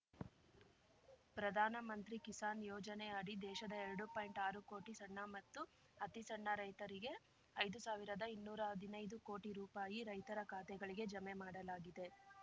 ಪ್ರಧಾನ ಮಂತ್ರಿ ಕಿಸಾನ್ ಯೋಜನೆ ಅಡಿ ದೇಶದ ಎರಡು ಪಾಯಿಂಟ್ಆರು ಕೋಟಿ ಸಣ್ಣ ಮತ್ತು ಅತಿ ಸಣ್ಣ ರೈತರಿಗೆ ಐದು ಸಾವಿರದಇನ್ನೂರಾ ಹದಿನೈದು ಕೋಟಿ ರೂಪಾಯಿ ರೈತರ ಖಾತೆಗಳಿಗೆ ಜಮೆ ಮಾಡಲಾಗಿದೆ